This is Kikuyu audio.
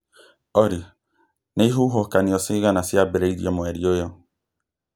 olly nĩ ihuhũkanio cigana ciambĩrĩirie mweri ũyũ